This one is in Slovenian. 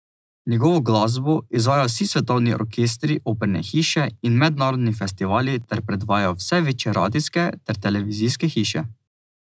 Njegovo glasbo izvajajo vsi svetovni orkestri, operne hiše in mednarodni festivali ter predvajajo vse večje radijske ter televizijske hiše.